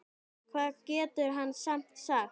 Hvað getur hann samt sagt?